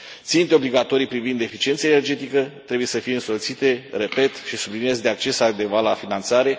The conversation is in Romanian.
Ținte obligatorii privind deficiența energetică trebuie să fie însoțite, repet și subliniez, de acces adecvat la finanțare.